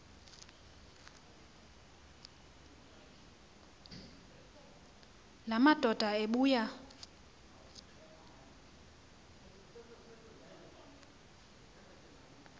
la madoda ebuya